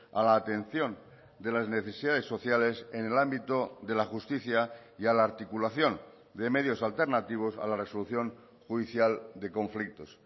a la atención de las necesidades sociales en el ámbito de la justicia y a la articulación de medios alternativos a la resolución judicial de conflictos